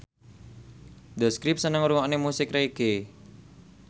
The Script seneng ngrungokne musik reggae